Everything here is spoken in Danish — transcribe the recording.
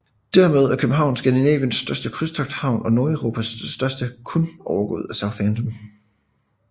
Dermed er København Skandinaviens største krydstogthavn og Nordeuropas næststørste kun overgået af Southampton